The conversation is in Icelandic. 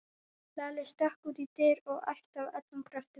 Lalli stökk út í dyr og æpti af öllum kröftum